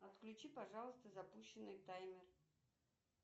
отключи пожалуйста запущенный таймер